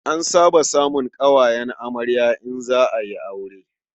An saba samun ƙawayen amarya in za a yi aure.